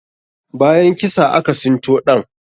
Bayan kisa, aka sinto ɗan.